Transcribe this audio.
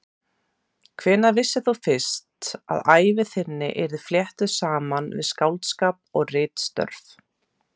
Hvenær vissir þú fyrst að ævi þín yrði fléttuð saman við skáldskap og ritstörf?